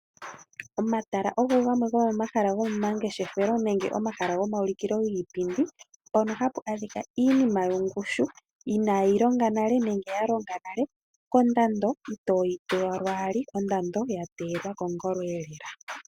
Omatala ogo gamwe gomomahala gomangeshefelo nenge omahala gomaulikilo giipindi moka hamu adhika iinima yongushu ya longa nale nenge inayi longa, kondando itoyi pewa lwaali ano ondando ya teyelwa kongolo lela.